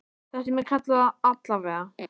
Það sem ég kalla það, allavega.